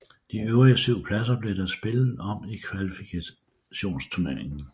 De øvrige syv pladser blev der spillet om i kvalifikationsturneringen